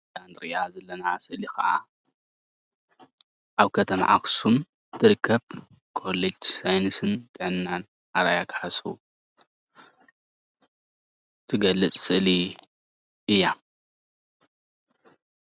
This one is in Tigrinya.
እዛ እንሪአ ዘለና ስእሊ ከዓ ኣብ ከተማ ኣክሱም እትርከብ ኮሌጅ ሳይነስን ጥዕናን ኣርኣያ ካሕሱ እትገልፅ ስእሊ እያ፡፡